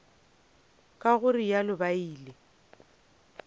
ka go realo ba ile